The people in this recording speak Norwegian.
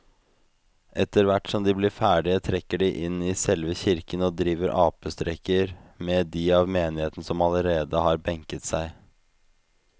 Etterthvert som de blir ferdige trekker de inn i selve kirken og driver apestreker med de av menigheten som allerede har benket seg.